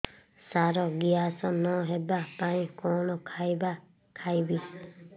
ସାର gas ନ ହେବା ପାଇଁ କଣ ଖାଇବା ଖାଇବି